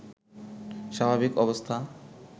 স্বাভাবিক অবস্থা